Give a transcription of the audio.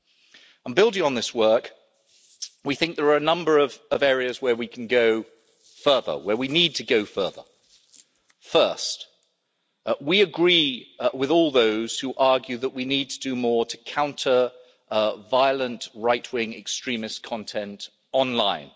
And building on this work, we think there are a number of areas where we can go further where we need to go further. First, we agree with all those who argue that we need to do more to counter violent, right-wing extremist content online.